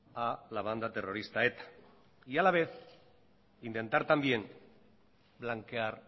a la banda terrorista eta y a la vez intentar también blanquear